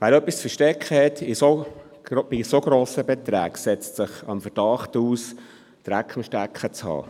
Wer bei so hohen Beträgen etwas zu verstecken hat, setzt sich dem Verdacht aus, Dreck am Stecken zu haben.